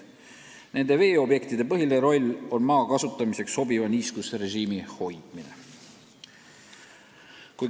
Nende veeobjektide põhiline roll on hoida maa kasutamiseks sobivat niiskusrežiimi.